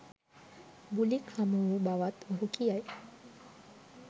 බුලික් හමුවූ බවත් ඔහු කියයි